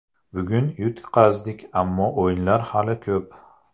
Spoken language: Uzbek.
Bugun yutqazdik, ammo o‘yinlar hali ko‘p.